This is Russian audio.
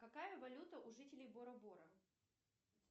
какая валюта у жителей бора бора